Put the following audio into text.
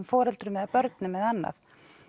foreldrum börnum eða annað